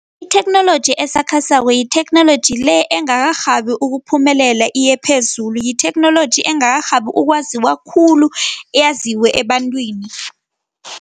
Itheknoloji esakhasako yitheknoloji le engakarhabi ukuphumelela iye phezulu, yitheknoloji engakarhabi ukwaziwa khulu, yaziwe ebantwini.